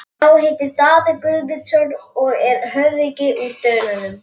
Sá heitir Daði Guðmundsson og er höfðingi úr Dölunum.